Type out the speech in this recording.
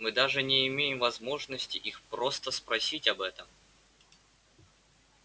мы даже не имеем возможности их просто спросить об этом